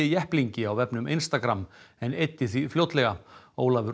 jepplingi á vefnum Instagram en eyddi því fljótlega